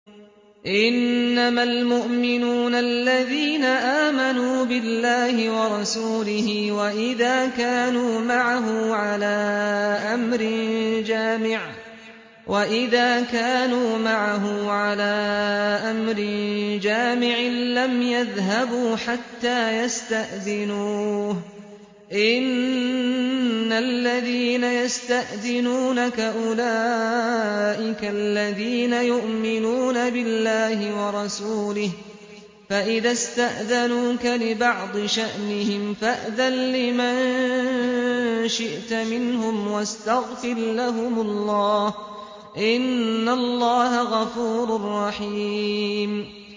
إِنَّمَا الْمُؤْمِنُونَ الَّذِينَ آمَنُوا بِاللَّهِ وَرَسُولِهِ وَإِذَا كَانُوا مَعَهُ عَلَىٰ أَمْرٍ جَامِعٍ لَّمْ يَذْهَبُوا حَتَّىٰ يَسْتَأْذِنُوهُ ۚ إِنَّ الَّذِينَ يَسْتَأْذِنُونَكَ أُولَٰئِكَ الَّذِينَ يُؤْمِنُونَ بِاللَّهِ وَرَسُولِهِ ۚ فَإِذَا اسْتَأْذَنُوكَ لِبَعْضِ شَأْنِهِمْ فَأْذَن لِّمَن شِئْتَ مِنْهُمْ وَاسْتَغْفِرْ لَهُمُ اللَّهَ ۚ إِنَّ اللَّهَ غَفُورٌ رَّحِيمٌ